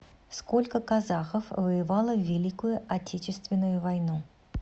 сколько казахов воевало в великую отечественную войну